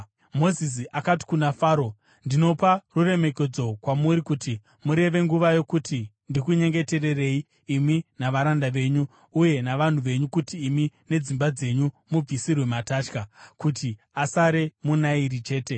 Mozisi akati kuna Faro, “Ndinopa ruremekedzo kwamuri kuti mureve nguva yokuti ndikunyengetererei imi navaranda venyu uye navanhu venyu kuti imi nedzimba dzenyu mubvisirwe matatya, kuti asare muna Nairi chete.”